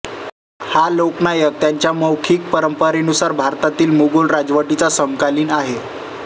हा लोक नायक त्यांच्या मौखिक परंपरेनुसार भारतातील मोगल राजवटीचा समकालीन आहे